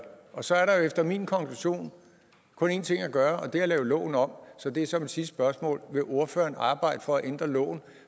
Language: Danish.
og så er der jo efter min konklusion kun én ting at gøre og det er at lave loven om så det er så mit sidste spørgsmål vil ordføreren arbejde for at ændre loven